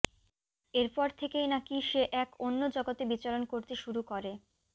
এরপর থেকেই নাকি সে এক অন্য জগতে বিচরণ করতে শুরু করে